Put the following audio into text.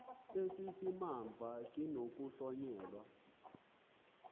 esi simamva sinokuhlonyelwa